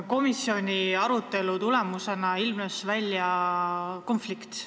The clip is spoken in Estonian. Komisjoni arutelu tulemusena ilmnes konflikt.